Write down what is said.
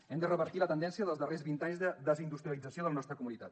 hem de revertir la tendència dels darrers vint anys de desindustrialització de la nostra comunitat